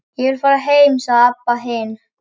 Ég vil fara heim, sagði Abba hin.